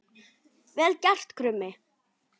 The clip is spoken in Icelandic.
Vel gert, Krummi!